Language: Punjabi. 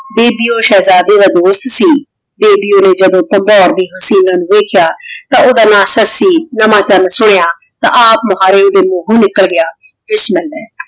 ਜਿਸਦੀ ਊ ਸ਼ੇਹ੍ਜ਼ਾਡੇ ਦਾ ਦੋਸਤ ਸੀ ਓੜੀ ਓਹਨੇ ਜਦੋਂ ਵੇਖ੍ਯਾ ਤਾਂ ਓਹਦਾ ਨਾਮ ਸੱਸੀ ਹਮਾ ਤਾਂ ਸੁਨ੍ਯ ਤੇ ਆਪ ਮੁਹਾਰੇ ਏਡੇ ਮੂਹੋਂ ਨਿਕਲਾ ਗਯਾ ਬਿਸ੍ਮਿਲ੍ਲਾਹ